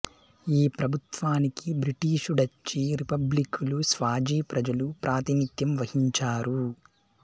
ఈ ప్రభుత్వానికి బ్రిటీషు డచ్చి రిపబ్లిక్కులు స్వాజీ ప్రజలు ప్రాతినిథ్యం వహించారు